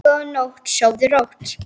Góða nótt, sofðu rótt.